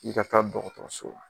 I ka taa dɔgɔtɔrɔso la